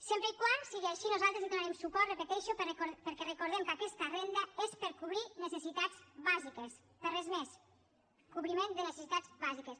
sempre que sigui així nosaltres hi donarem suport ho repeteixo perquè recordem que aquesta renda és per cobrir necessitats bàsiques per a res més cobriment de necessitats bàsiques